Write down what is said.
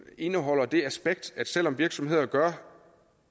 indeholder det aspekt at selv om virksomheder gør